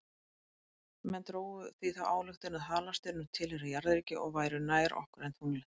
Menn drógu því þá ályktun að halastjörnur tilheyrðu jarðríki og væru nær okkur en tunglið.